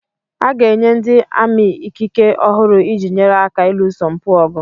A ga-enye ndị ami ikike ọhụrụ iji nyere aka ịlụso mpụ ọgụ